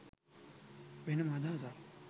වෙනම අදහසක්.